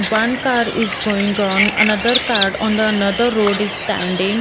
One car is going on another car on the another road is standing.